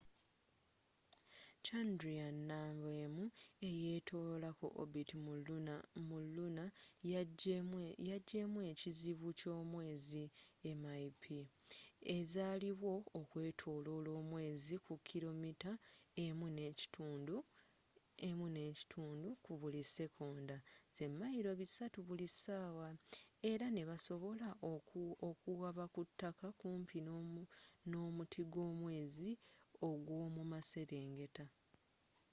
chandrayaan-1 ekyetoloola ku orbit mu luna yagyemu ekizibu ky'omwezi mip ezaliwo okwetoloola omwezi ku kilomita1.5 ku buli sikonda mayiro 3000 buli ssaawa, era nebasobola okuwaba ku ttaka kumpi n'omuti gw'omwezi ogw'omu maserengeta